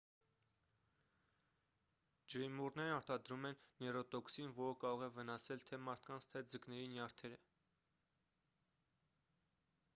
ջրիմուռներն արտադրում են նեյրոտոքսին որը կարող է վնասել թե մարդկանց թե ձկների նյարդերը